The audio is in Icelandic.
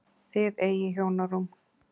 Þið eigið hjónarúm.